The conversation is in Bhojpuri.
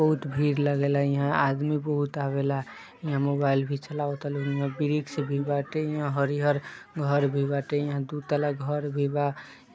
बहुत भीड़ लागेला हिया आदमी बहुत आवेला हिया मोबाईल भी चलावता लोग एक से एक बाटे हिया हरिहर घर भी बाटे हिया दु तल्ला घर भी बा।